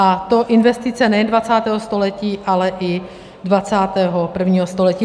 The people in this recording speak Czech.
A to investice nejen 20. století, ale i 21. století.